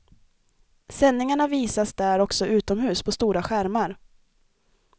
Sändningarna visas där också utomhus på stora skärmar.